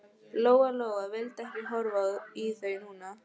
Lóa Lóa vildi ekki horfa í þau núna.